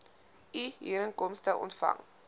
u huurinkomste ontvang